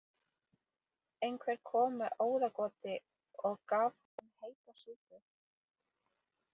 Einhver kom með óðagoti og gaf honum heita súpu.